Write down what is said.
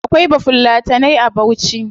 Akwai bafulatanai a bauchi